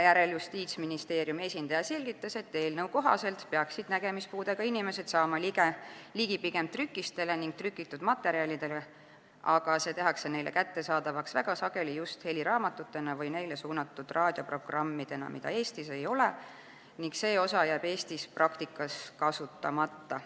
Justiitsministeeriumi esindaja selgitas, et eelnõu kohaselt peaksid nägemispuudega inimesed saama ligi pigem trükistele ning trükitud materjalidele, aga materjalid tehakse neile kättesaadavaks väga sageli just heliraamatutena või neile suunatud raadioprogrammidena, mida Eestis ei ole, ning see osa jääb Eestis praktikas kasutamata.